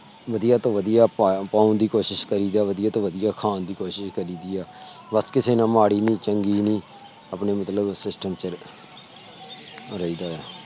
ਵਧੀਆ ਤੋਂ ਵਧੀਆ ਦੀ ਕੋਸ਼ਿਸ਼ ਜਾਵੇ ਵਧੀਆ ਤੋਂ ਵਧੀਆ ਖਾਨ ਦੀ ਕੋਸ਼ਿਸ ਕਰੀ ਦੀ ਆ ਬਸ ਕਿਸੇ ਨਾਲ ਮਾੜੀ ਨੀ ਚੰਗੀ ਨੀ ਆਪਣੇ ਮਤਲਬ SYSTEM ਚ ਰਹੀ ਦਾ ਆ